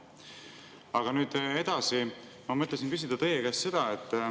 Aga nüüd edasi, ma mõtlesin küsida teie käest seda.